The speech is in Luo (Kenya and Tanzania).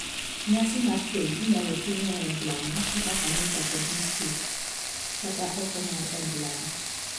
Nyasi mar keny inyal tim e od lamo (kaka kanisa kod muskit), kata oko mar od lamo.